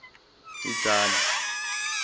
itsani